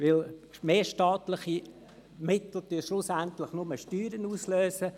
Denn mehr staatliche Mittel lösen schliesslich nur Steuern aus.